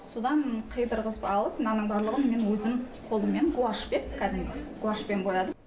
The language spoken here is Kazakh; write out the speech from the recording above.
содан қидырғызып алып мынаның барлығын мен өзім қолмен гуашьпен кәдімгі гуашьпен боядым